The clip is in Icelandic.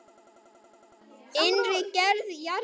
Seinni hluti.